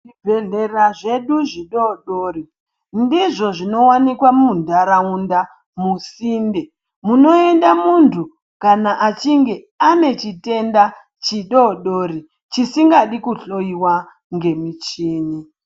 Zvibhehlera zvedu zvidodori ndizvo zvinowanika munharaunda musinde munoenda munhu kana achinge ane chitenda chidodori chisingadi kuhloyiwa ngemichini.